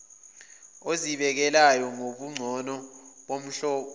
ezibikezelekayo nobungcono bomhlomulo